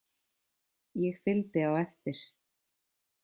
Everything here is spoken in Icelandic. Ég fylgdi á eftir.